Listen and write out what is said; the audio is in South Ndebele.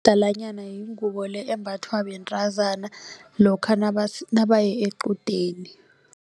yingubo le embathwa bentazana lokha nabaye equdeni.